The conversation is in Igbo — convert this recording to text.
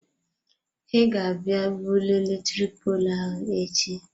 He ga abịa bulie eletrik poolụ ahụ echi.